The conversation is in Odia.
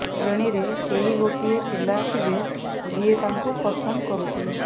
ଶ୍ରେଣୀ ରେ କେହି ଗୋଟାଏ ବି ପିଲା ଥିବେ ଯିଏ ତାଙ୍କୁ ପସନ୍ଦ କରୁଥିବେ